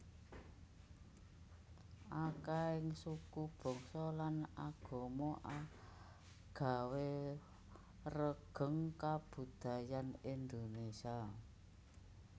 Akèhing suku bangsa lan agama agawé regeng kabudayan Indonésia